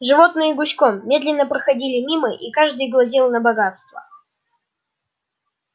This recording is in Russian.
животные гуськом медленно проходили мимо и каждый глазел на богатства